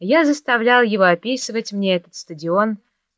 я заставлял его описывать мне этот стадион